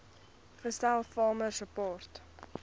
gestel farmer support